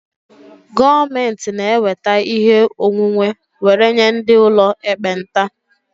Gọọmentị na-eweta ihe onwunwe were nye ndị ụlọ ekpenta